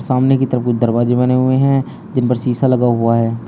सामने की तरफ कुछ दरवाजे बने हुए हैं जिन पर शीशा लगा हुआ है।